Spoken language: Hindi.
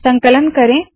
संकलन करे